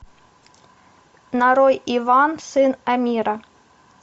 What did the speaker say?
нарой иван сын амира